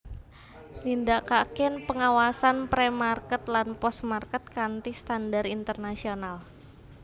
Nindakaken pengawasan Pre Market lan Post Market kanthi standar internasional